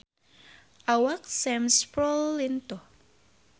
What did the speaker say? Awak Sam Spruell lintuh